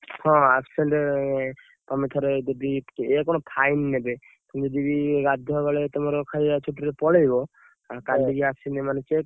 ହଁ absent ତମେ ଥରେ ଯଦି ଇଏ କଣ fine ନେବେ ଯଦି ତମେ ଗାଧୁଆ ବେଳେ ତମର ଖାଇଆ ଛୁଟିରେ ପଳେଇବ କାଲି କି ଆସିଲେ ମାନେ check ।